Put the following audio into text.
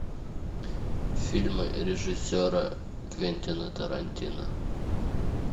фильмы режиссера квентина тарантино